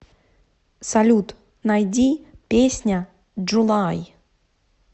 салют найди песня джулай